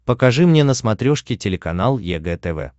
покажи мне на смотрешке телеканал егэ тв